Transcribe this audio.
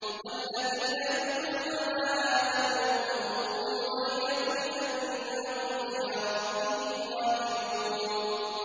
وَالَّذِينَ يُؤْتُونَ مَا آتَوا وَّقُلُوبُهُمْ وَجِلَةٌ أَنَّهُمْ إِلَىٰ رَبِّهِمْ رَاجِعُونَ